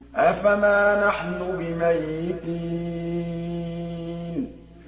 أَفَمَا نَحْنُ بِمَيِّتِينَ